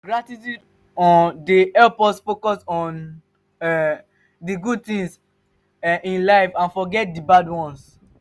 gratitude um dey help us focus on um di good tings um in life and forget di bad ones.